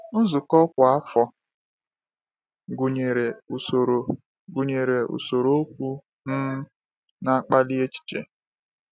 Nzukọ kwa afọ gụnyere usoro gụnyere usoro okwu um na-akpali echiche.